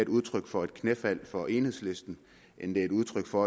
udtryk for et knæfald for enhedslisten end et udtryk for